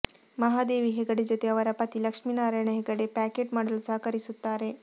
ಮಹಾದೇವಿ ಹೆಗಡೆ ಜೊತೆ ಅವರ ಪತಿ ಲಕ್ಷ್ಮೀನಾರಾಯಣ ಹೆಗಡೆ ಪ್ಯಾಕೆಟ್ ಮಾಡಲು ಸಹಕರಿಸುತ್ತಾರೆ